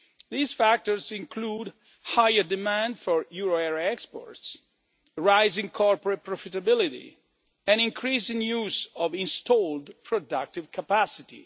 These include higher demand for euro area exports, rising corporate profitability and an increasing use of installed productive capacity.